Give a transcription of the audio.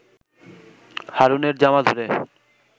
হারুনের জামা ধরে